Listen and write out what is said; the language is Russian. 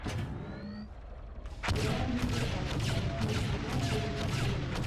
сериал люди альфа восьмой сезон первая серия